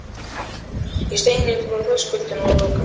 Ég steig inn fyrir þröskuldinn og lokaði.